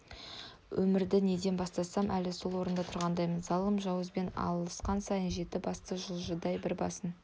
өмірді неден бастасам әлі сол орында тұрғандаймын залым жауызбен алысқан сайын жеті басты жыландай бір басын